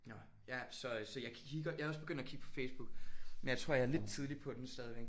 Nåh ja så øh så jeg kigger jeg er også begyndt at kigge på Facebook men jeg tror jeg er lidt tidligt på den stadigvæk